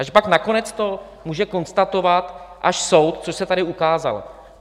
A že pak nakonec to může konstatovat až soud, což se tady ukázalo.